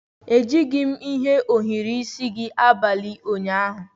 Ejighị m ohiri isi gị abalị ụnyaahụ.